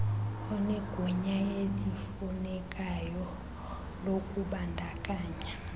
onegunya elifunekayo lokubandakanya